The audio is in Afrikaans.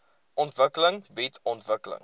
ontwikkeling bied ontwikkeling